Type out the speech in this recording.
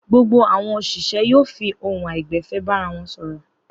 Gbogbo àwọn òṣìṣẹ́ yóò fi ohùn àìgbẹ̀fẹ̀ bára wọn sọ̀rọ̀.